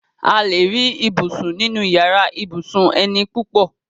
A lè rí ibùsùn nínu yàrá ibùsùn eni púpọ̀